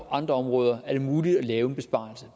andre områder er det muligt at lave en besparelse